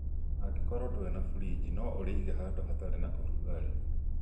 Angĩkorwo ndũrĩ na friji no ũrĩige handũ hatarĩ na ũrugarĩ